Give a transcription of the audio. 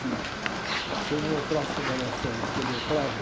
que se eu não entrasse como era sério, acho que ele entrava.